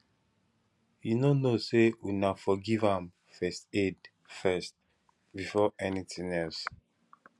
you no know say una for give am first aid first before anything else